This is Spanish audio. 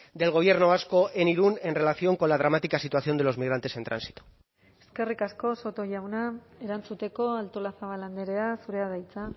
del gobierno vasco en irun en relación con la dramática situación de los migrantes en tránsito eskerrik asko soto jauna erantzuteko artolazabal andrea zurea da hitza